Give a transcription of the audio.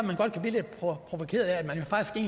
godt blive lidt provokeret af